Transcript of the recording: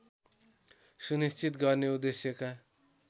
सुनिश्चित गर्ने उद्देश्यका